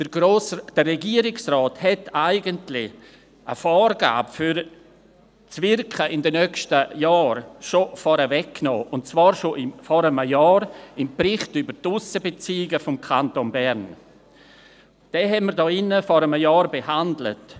Der Regierungsrat hat eigentlich eine Vorgabe für das Wirken in den nächsten Jahren bereits vorweggenommen, und zwar schon vor einem Jahr im Bericht «Die Aussenbeziehungen des Kantons Bern 2017»Diesen haben wir vor einem Jahr hier in diesem Saal behandelt.